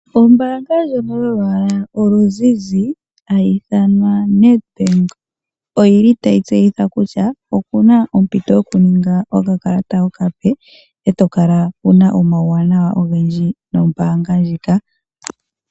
Ombaanga ndjono yolwaala oluzizi oNedbank otayi tseyitha kutya opuna ompito yokuninga okakalata okape eto kala wuna omauwanawa ogendji nombaanga ndjika.